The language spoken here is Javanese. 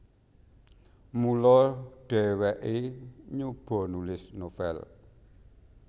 Mula dhèwèké nyoba nulis novel